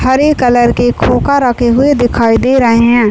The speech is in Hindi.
हरे कलर के खोका रखे हुए दिखाई दे रहे हैं।